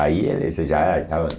Aí eles já estavam...